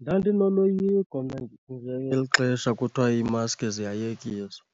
Ndandinoloyiko mna ngeli xesha kuthiwa imaski ziyayekiswa